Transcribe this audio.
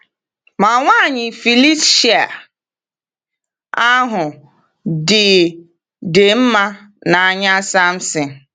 Ma nwaanyị Filistia ahụ dị dị “mma n’anya Samson.”